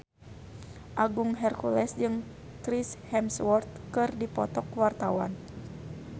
Agung Hercules jeung Chris Hemsworth keur dipoto ku wartawan